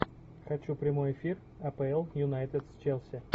хочу прямой эфир апл юнайтед с челси